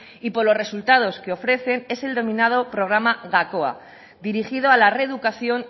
y por los resultados que ofrecen es el denominado programa gakoa dirigido a la reeducación